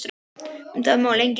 Um það má lengi ræða.